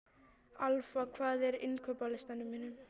Alfa, hvað er á innkaupalistanum mínum?